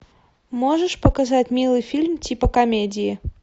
можешь показать милый фильм типа комедии